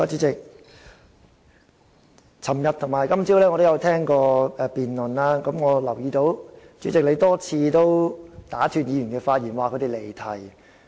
昨天與今早我有聆聽辯論，留意到主席多次打斷議員的發言，指他們離題。